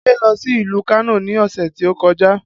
Ade lọ sí ìlú Kano ni ọ̀sẹ̀ tí ó kọjá